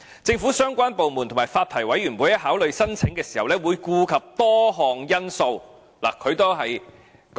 政府相關部門和發牌委員會在考慮申請時會顧及多項因素。